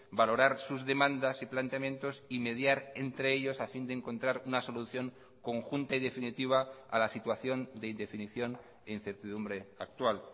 valorar sus demandas y planteamientos y mediar entre ellos a fin de encontrar una solución conjunta y definitiva a la situación de indefinición e incertidumbre actual